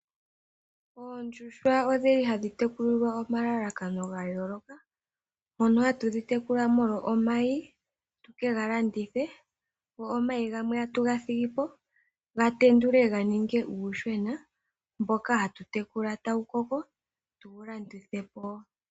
Oondjuhwa odhili hadhi tekulilwa omalalakano gayooloka. Mono hatu dhi tekula molwa omayi, tuke ga landithe, go omayi gamwe tatu ga thigi po, gatendulwe ga ninge uuyuhwena, mboka hatu tekula e ta wu koko, tuwu landithe po.